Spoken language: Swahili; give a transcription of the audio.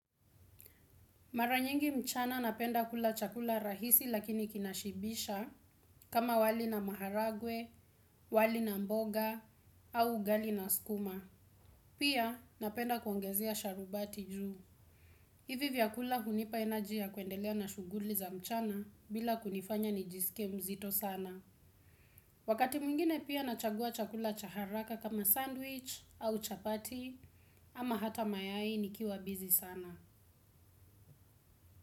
Mara nyingi mchana napenda kula chakula rahisi lakini kinashibisha kama wali na maharagwe, wali na mboga, au ugali na skuma. Pia napenda kuongezea sharubati juu. Hivi vyakula hunipa energy ya kuendelea na shughuli za mchana bila kunifanya nijisike mzito sana. Wakati mwingine pia nachagua chakula cha haraka kama sandwich au chapati ama hata mayai nikiwa busy sana.